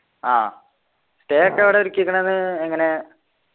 ആഹ് stay ഒക്കെ എവിടെയാ ഒരുക്കീക്ക്ണത് എങ്ങനെ